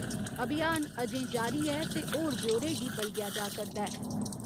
अभियान अजें जारी ऐ ते होर ब्यौरे गी बलगेया जा करदा ऐ।